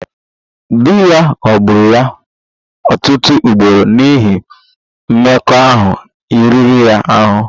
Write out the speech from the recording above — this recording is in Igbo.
Di ya ghọgburu ya ọtụtụ ugboro n'ihi mmekọahụ riri ya ahụ